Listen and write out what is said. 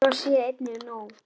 Svo sé einnig nú.